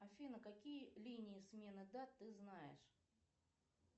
афина какие линии смены дат ты знаешь